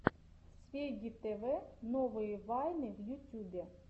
свегги тв новые вайны в ютьюбе